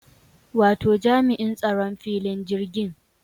Wato jami'in tsaron filin jirgin